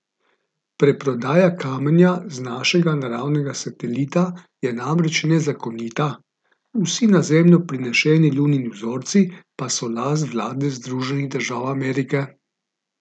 Preprodaja kamenja z našega naravnega satelita je namreč nezakonita, vsi na Zemljo prinešeni Lunini vzorci pa so last vlade Združenih držav Amerike.